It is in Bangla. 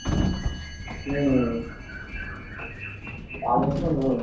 হম চাকরি তো নেই